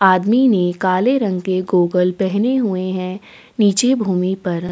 आदमी ने काले रंग के गॉगल्स पहने हुए है नीचे भूमि पर --